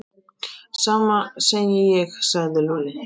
Sama segi ég sagði Lúlli.